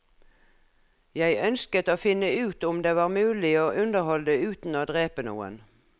Jeg ønsket å finne ut om det var mulig å underholde uten å drepe noen.